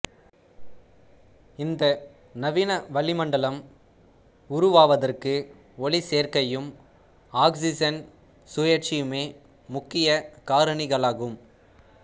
இந்த நவீன வளிமண்டலம் உருவாவதற்கு ஒளிச்சேர்க்கையும் ஆக்சிசன் சுழற்சியுமே முக்கிய காரணிகளாகும்